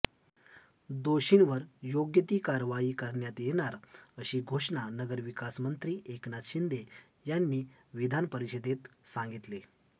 दोषींवर योग्य ती कारवाई करण्यात येणार अशी घोषणा नगरविकासमंत्री एकनाथ शिंदे यांनी विधान परिषदेत सांगितले